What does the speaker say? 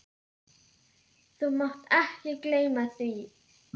Þú mátt ekki gleyma því!